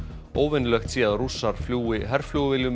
óvenjulegt sé að Rússar fljúgi herflugvélum